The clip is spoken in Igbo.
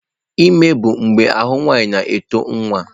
Ime bụ mgbe ahụ nwanyị na-eto nwa.